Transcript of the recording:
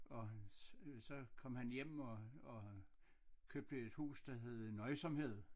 Og så kom han hjem og og købte et hus der hed Nøjsomhed